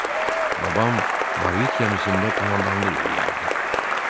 Babam Barvik qəmisində komandanlıq eləyərdi.